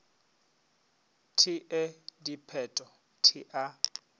t e dipheto t a